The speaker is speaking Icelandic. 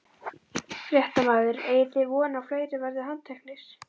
Fréttamaður: Eigið þið von á að fleiri verði handteknir?